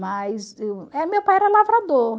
Mas meu pai era lavrador.